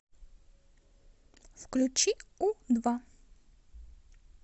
включи у два